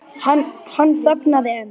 Hann þagnaði en